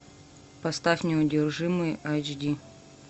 поставь неудержимые эйч ди